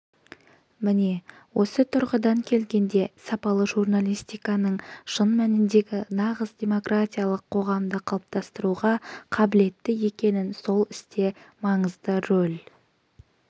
міне осы тұрғыдан келгенде сапалы журналистиканың шын мәніндегі нағыз демократиялық қоғамды қалыптастыруға қабілетті екенін сол істе маңызды рөл